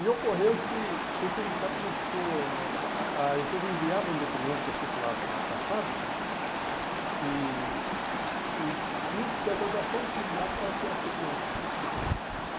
E ocorreu que que o sindicato começou... a a a empresa enviava um documento circular para a para a fábrica e e tinha que ter autorização do sindicato para enviar esse documento. Uhum